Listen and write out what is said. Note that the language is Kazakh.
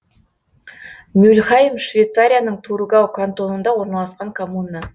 мюльхайм швейцарияның тургау кантонында орналасқан коммуна